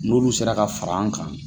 N'olu sera ka far'an kan